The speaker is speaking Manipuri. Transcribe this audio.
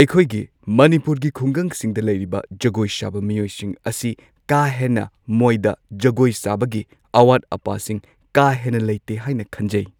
ꯑꯩꯈꯣꯏꯒꯤ ꯃꯅꯤꯄꯨꯔꯒꯤ ꯈꯨꯡꯒꯪꯁꯤꯡꯗ ꯂꯩꯔꯤꯕ ꯖꯒꯣꯏ ꯁꯥꯕ ꯃꯤꯑꯣꯏꯁꯤꯡ ꯑꯁꯤ ꯀꯥ ꯍꯦꯟꯅ ꯃꯣꯏꯗ ꯖꯒꯣꯏ ꯁꯥꯕꯒꯤ ꯑꯋꯥꯠ ꯑꯄꯥꯁꯤꯡ ꯀꯥ ꯍꯦꯟꯅ ꯂꯩꯇꯦ ꯍꯥꯏꯅ ꯈꯟꯖꯩ꯫